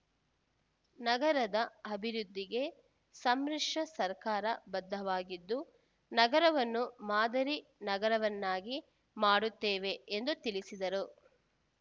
ನಗರದ ಅಭಿವೃದ್ಧಿಗೆ ಸಮ್ಮಿಶ್ರ ಸರ್ಕಾರ ಬದ್ಧವಾಗಿದ್ದು ನಗರವನ್ನು ಮಾದರಿ ನಗರವನ್ನಾಗಿ ಮಾಡುತ್ತೇವೆ ಎಂದು ತಿಳಿಸಿದರು